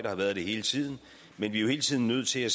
og har været det hele tiden men vi er hele tiden nødt til at